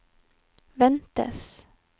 ventes